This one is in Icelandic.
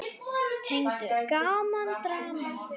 Tegund: Gaman, Drama